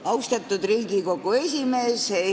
Austatud Riigikogu esimees!